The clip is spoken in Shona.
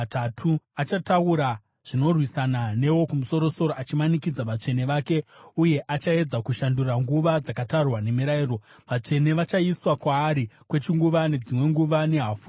Achataura zvinorwisana neWokumusoro-soro achimanikidza vatsvene vake, uye achaedza kushandura nguva dzakatarwa nemirayiro. Vatsvene vachaiswa kwaari kwechinguva, nedzimwe nguva nehafu yenguva.